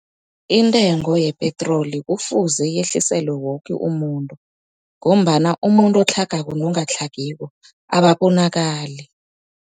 Intengo yepetroli kufuze yehliselwe woke umuntu, ngombana umuntu otlhagako nongatlhagiko ababonakali.